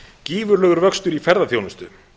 gífurlegur vöxtur í ferðaþjónustu